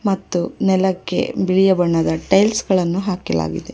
ಮತ್ತು ನೆಲಕ್ಕೆ ಬಿಳಿಯ ಬಣ್ಣದ ಟೈಲ್ಸ್ ಗಳನ್ನು ಹಾಕಲಾಗಿದೆ.